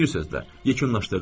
Bir sözlə, yekunlaşdırdım.